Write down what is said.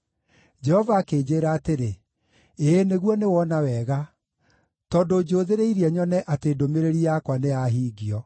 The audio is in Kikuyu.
Jehova akĩnjĩĩra atĩrĩ, “Ĩĩ, nĩguo nĩwona wega, tondũ njũthĩrĩirie nyone atĩ ndũmĩrĩri yakwa nĩyahingio.”